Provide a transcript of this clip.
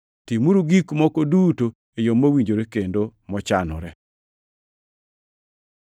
Timuru gik moko duto e yo mowinjore kendo mochanore.